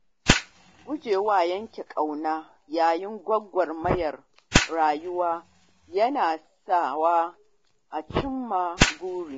Gujewa yanke ƙauna yayin gwagwarmayar rayuwa yana sawa a cimma buri.